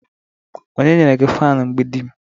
onye nyere gi fan mgbidim?